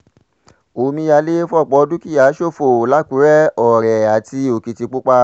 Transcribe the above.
omíyalé fọ́pọ̀ dúkìá ṣòfò làkúrẹ́ ọ̀rẹ́ àti òkìtìpápá